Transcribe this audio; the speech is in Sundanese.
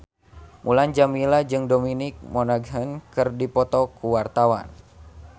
Mulan Jameela jeung Dominic Monaghan keur dipoto ku wartawan